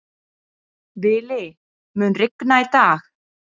Vili, mun rigna í dag?